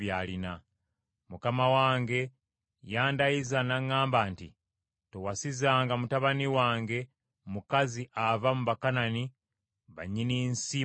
Mukama wange yandayiza n’aŋŋamba nti, ‘Towasizanga mutabani wange mukazi ava mu Bakanani ba nnyini nsi mwe mbeera.